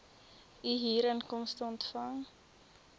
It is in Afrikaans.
u huurinkomste ontvang